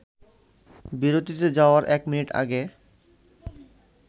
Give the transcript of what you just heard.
বিরতিতে যাওয়ার এক মিনিট আগে